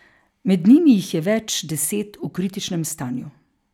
Med njimi jih je več deset v kritičnem stanju.